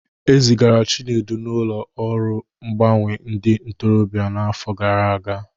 E zigara Chinedu n'ụlọ ọrụ mgbanwe ndị ntorobịa n'afọ gara aga.